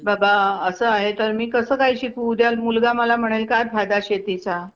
हम्म आणि शेतकऱ्यावर कर्ज काढत्यात ना?